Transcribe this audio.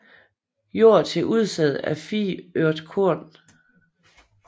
Jord til udsæd af 4 ørt korn